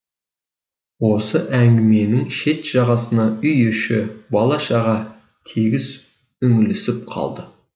осы әңгіменің шет жағасына үй іші бала шаға тегіс үңілісіп қалды